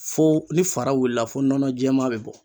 Fo ni fara wulila fo nɔnɔ jɛman bɛ bɔ.